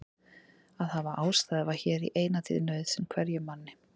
Að hafa ástæðu var hér í eina tíð nauðsyn hverjum manni.